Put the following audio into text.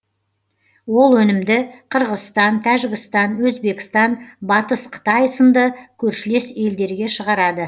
ол өнімді қырғызстан тәжікстан өзбекстан батыс қытай сынды көршілес елдерге шығарады